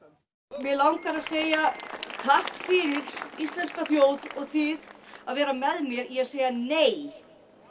mig langar að segja takk fyrir íslenska þjóð og þið að vera með mér í að segja nei